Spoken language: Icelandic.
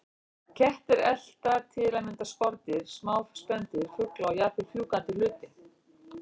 Kettir elta til að mynda skordýr, smá spendýr, fugla og jafnvel fjúkandi hluti.